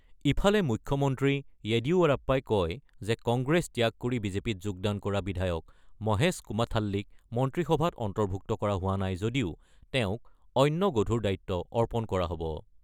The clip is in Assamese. ইফালে মুখ্যমন্ত্ৰী য়েডিয়ুৰাপ্পাই কয় যে কংগ্ৰেছ ত্যাগ কৰি বিজেপিত যোগদান কৰা বিধায়ক মহেশ কুমাথাল্লিক মন্ত্ৰীসভাত অন্তৰ্ভুক্ত কৰা হোৱা নাই যদিও তেওঁক অন্য গধুৰ দায়িত্ব অৰ্পণ কৰা হ'ব।